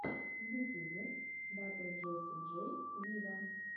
в ютьюбе батл джесси джей виво